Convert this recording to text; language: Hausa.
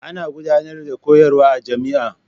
Ana gudanar da koyarwa a jami'a.